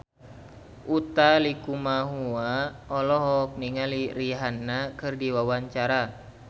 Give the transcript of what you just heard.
Utha Likumahua olohok ningali Rihanna keur diwawancara